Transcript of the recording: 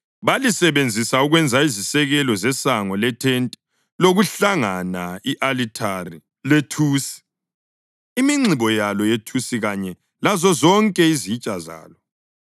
Balisebenzisa ukwenza izisekelo zesango lethente lokuhlangana, i-alithari lethusi, iminxibo yalo yethusi kanye lazozonke izitsha zalo,